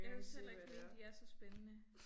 Jeg synes heller ikke mine de er så spændende